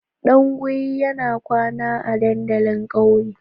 Dunguwi ya kwana a dandalin kauye.